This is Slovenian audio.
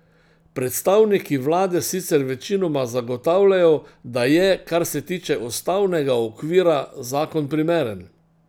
Predstavniki vlade sicer večinoma zagotavljajo, da je, kar se tiče ustavnega okvira, zakon primeren.